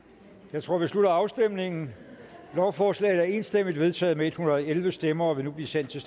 jeg tror vi slutter afstemningen lovforslaget er enstemmigt vedtaget med en hundrede og elleve stemmer og vil nu blive sendt til